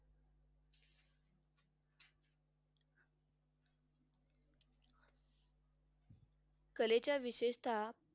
कलेच्या विशेषता